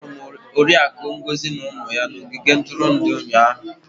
Ahụrụ m Oriakụ Ngozi na ụmụ ya n'ogige ntụrụndụ ụnyahụ.